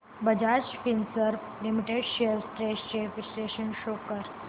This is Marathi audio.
Bajaj Finserv limited shares trends चे विश्लेषण शो कर